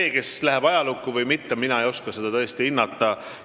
Seda, kes läheb ajalukku ja kes mitte, ei oska mina tõesti hinnata.